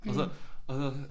Og så og så